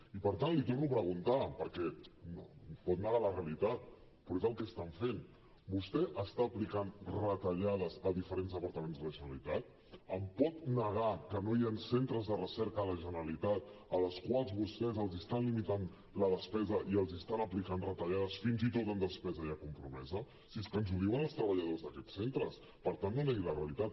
i per tant l’hi torno a preguntar perquè pot negar la realitat però és el que estan fent vostè està aplicant retallades a diferents departaments de la generalitat em pot negar que no hi han centres de recerca de la generalitat als quals vostès els estan limitant la despesa i els estan aplicant retallades fins i tot en despesa ja compromesa si és que ens ho diuen els treballadors d’aquests centres per tant no negui la realitat